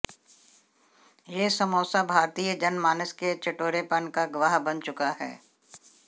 ये समोसा भारतीय जनमानस के चटोरेपन का गवाह बन चुका है